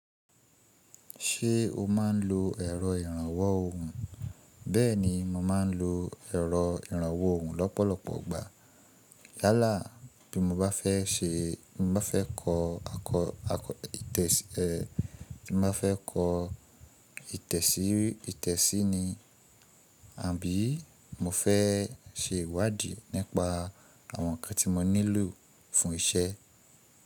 Ṣé o má ń lo ẹ̀rọ ìrànwọ́ òhún? Bẹ́ẹ̀ni, mo má ń lo ẹ̀rọ ìrànwọ́ òhún lọ́pọ̀lọpọ̀ ìgbà. Yálà bí mo bá fẹ́ ṣe, bí mo bá fẹ́ kọ ìtẹ̀sí ní, àbí mo fẹ́ ṣe ìwádìí nípa àwọn ǹkan tí mo nílò fún iṣẹ́.